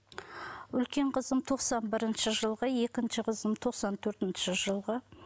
үлкен қызым тоқсан бірінші жылғы екінші қызым тоқсан төртінші жылғы